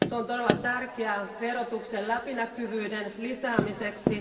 Se on todella tärkeää verotuksen läpinäkyvyyden lisäämiseksi.